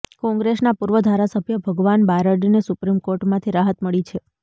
કોંગ્રેસના પૂર્વ ધારાસભ્ય ભગવાન બારડને સુપ્રીમ કોર્ટમાંથી રાહત મળી છે